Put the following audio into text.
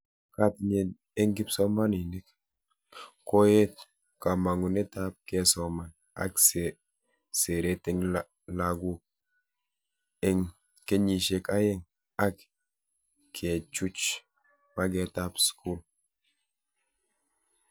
Katinyet eng kipsomanink: Koet kamangunetab kesoman ak seret eng laguk eng kenyishek aeng, ak kechuch metaetab skul